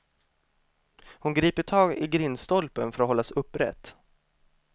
Hon griper tag i grindstolpen för att hållas upprätt.